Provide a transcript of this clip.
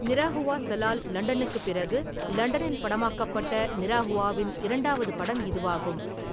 நிரஹுவா சலால் லண்டனுக்குப் பிறகு லண்டனில் படமாக்கப்பட்ட நிரஹுவாவின் இரண்டாவது படம் இதுவாகும்.